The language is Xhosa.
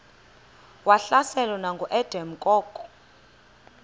wahlaselwa nanguadam kok